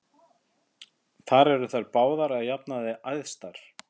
Þar eru þær báðar að jafnaði æðstar.